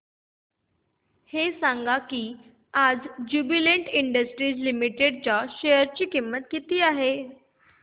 हे सांगा की आज ज्युबीलेंट इंडस्ट्रीज लिमिटेड च्या शेअर ची किंमत किती आहे